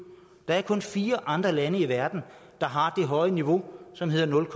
der er kun fire andre lande i verden der har det høje niveau som hedder nul